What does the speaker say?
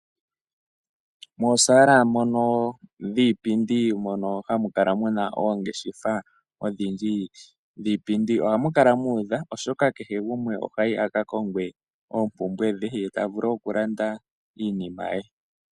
Moosala mono dhiipindi mono hamu kala muna oongeshefa odhindji dhiipindi, ohamu kala muudha oshoka kehe gumwe ohayi aka konge oompumbwe dhe, ye tavulu wo okulanda iinima ye.